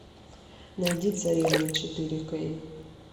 найди царевна четыре кей